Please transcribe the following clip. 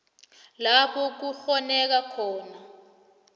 lapho kukghoneka khona